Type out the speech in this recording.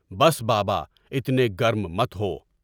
بس، بابا! اتنے گرم مت ہو۔